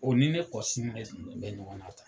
O ni ne kɔsilen bɛ ɲɔgɔn na tan.